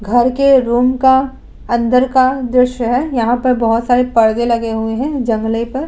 घर के रूम का अंदर का दृश्य है यहाँ पर बहोत सारे परदे लगे हुए हैं जंगले पर।